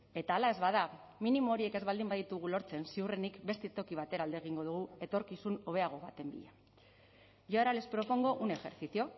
eta hala ez bada minimo horiek ez baldin baditugu lortzen ziurrenik beste toki batera alde egingo dugu etorkizun hobeago baten bila y ahora les propongo un ejercicio